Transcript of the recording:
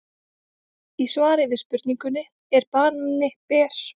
Í svari við spurningunni Er banani ber?